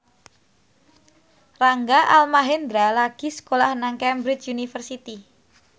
Rangga Almahendra lagi sekolah nang Cambridge University